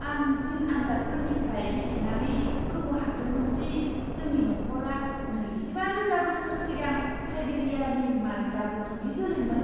आं जिन आनजादफोरनिफ्राय मिथिनानै गोमोहाबदोंमोन दि जोंनि नखरा नैजिबा रोजा बोसोर सिगां साइबेरियानि माल्टा गथ'नि जोलैमोन।